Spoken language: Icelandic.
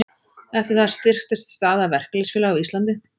Eftir það styrktist staða verkalýðsfélaga á Íslandi.